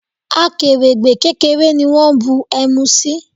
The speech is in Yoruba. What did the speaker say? Akèrègbè kékeré ni wón bu ẹmu sí.